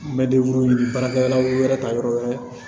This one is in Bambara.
N bɛ ɲini baarakɛlaw yɛrɛ ta yɔrɔ wɛrɛ